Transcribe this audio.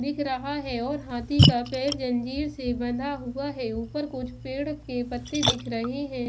दिख रहा है और हाथी का पैर जंजीर से बंधा हुआ है ऊपर कुछ पेड़ के पत्ते दिख रहे हैं ।